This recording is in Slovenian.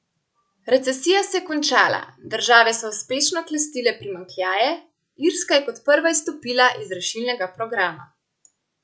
Recesija se je končala, države so uspešno klestile primanjkljaje, Irska je kot prva izstopila iz rešilnega programa.